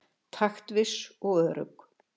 Taktviss og örugg.